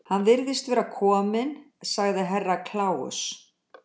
Hann virðist vera kominn, sagði Herra Kláus.